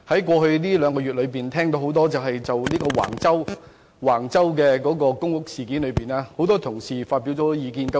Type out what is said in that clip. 過去兩個月，我欣然聽到很多同事就橫洲公屋事件發表不少意見。